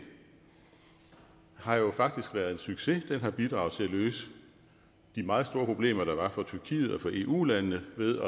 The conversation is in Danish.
har jo faktisk været en succes den har bidraget til at løse de meget store problemer der var for tyrkiet og for eu landene ved